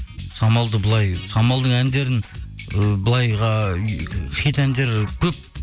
самалды былай самалдың әндерін ы былайға ыыы хит әндері көп